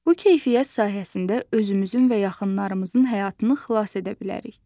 Bu keyfiyyət sayəsində özümüzün və yaxınlarımızın həyatını xilas edə bilərik.